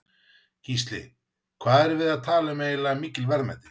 Gísli: Hvað erum við að tala eiginlega um mikil verðmæti?